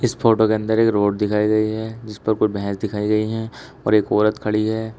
Photo के अंदर एक रोड दिखाई गई है जिस पर कोई भैंस दिखाई गई है और एक औरत खड़ी है।